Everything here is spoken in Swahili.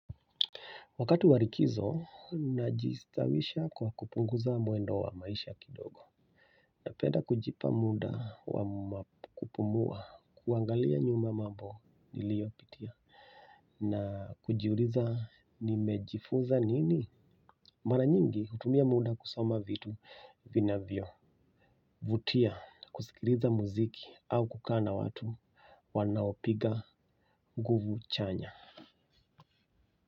Wakati wa likizo, najistawisha kwa kupunguza mwendo wa maisha kidogo. Na penda kujipa muda wa kupumua, kuangalia nyuma mambo niliyopitia. Na kujiuliza nimejifunza nini? Mara nyingi hutumia muda kusoma vitu vinavyo. Vutia, kusikiloza muziki au kukaa na watu wanaopiga nguvu chanya.